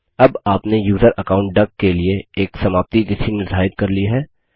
अब आपने user account डक के लिए एक समाप्ति तिथि निर्धारित कर ली है